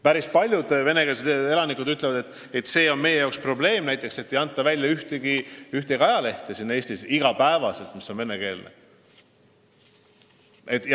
Päris paljud venekeelsed elanikud ütlevad, et nende jaoks on probleem näiteks see, et Eestis ei anta iga päev välja ühtegi venekeelset ajalehte.